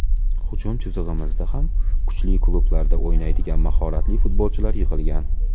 Hujum chizig‘imizda ham kuchli klublarda o‘ynaydigan mahoratli futbolchilar yig‘ilgan.